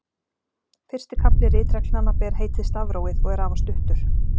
Fyrsti kafli ritreglnanna ber heitið Stafrófið og er afar stuttur.